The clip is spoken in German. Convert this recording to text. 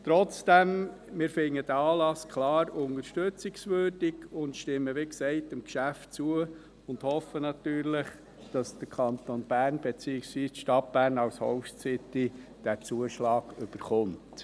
Trotzdem finden wir diesen Anlass klar unterstützungswürdig, stimmen wie gesagt dem Geschäft zu, und hoffen natürlich, dass der Kanton Bern, beziehungsweise die Stadt Bern als Host City, diesen Zuschlag erhält.